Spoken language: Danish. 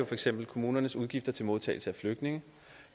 for eksempel kommunernes udgifter til modtagelse af flygtninge